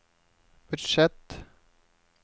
budsjett